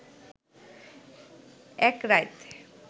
এক রাইত